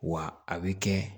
Wa a bɛ kɛ